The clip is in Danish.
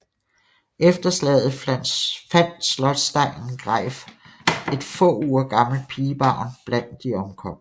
Efter slaget fandt slotsdegnen Greif et få uger gammelt pigebarn blandt de omkomne